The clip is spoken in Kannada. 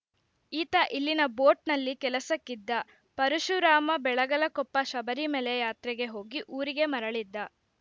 ಈತ ಇಲ್ಲಿನ ಬೋಟ್‌ನಲ್ಲಿ ಕೆಲಸಕ್ಕಿದ್ದ ಪರಶುರಾಮ ಬೆಳಗಲಕೊಪ್ಪ ಶಬರಿಮಲೆ ಯಾತ್ರೆಗೆ ಹೋಗಿ ಊರಿಗೆ ಮರಳಿದ್ದ